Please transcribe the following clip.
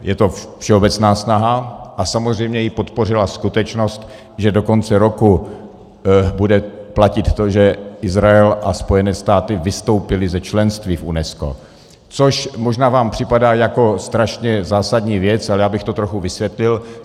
Je to všeobecná snaha a samozřejmě ji podpořila skutečnost, že do konce roku bude platit to, že Izrael a Spojené státy vystoupily ze členství v UNESCO, což možná vám připadá jako strašně zásadní věc, ale já bych to trochu vysvětlil.